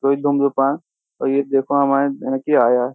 कोई धूमधुपान और ये देखो हमारे आया --